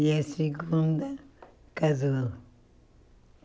E a segunda casou.